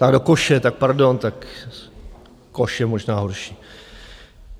Tak do koše, tak pardon, tak koš je možná horší.